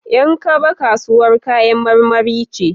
Yan kaba kasuwar kayan marmari ce.